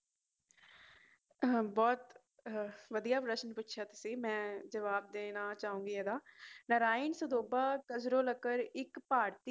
ਬਹੁਤ ਵਦੀਆ ਪ੍ਰਸ਼ਨ ਪੁਚਆ ਤੁਸੀ ਮੈ ਜਵਾਬ ਦੇਣਾ ਚਾਹੋਗੇ ਇਹਦਾ ਨਰਾਇਣ ਸਰੋਪਾ ਕਜ਼ਲੋਕਰ ਇਕ ਭਾਰਤੀ